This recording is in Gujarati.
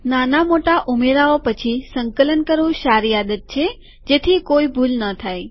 નાના મોટા ઉમેરાઓ પછી સંકલન કરવું સારી આદત છે જેથી કોઈ ભૂલ ન થાય